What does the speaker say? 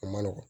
A ma nɔgɔn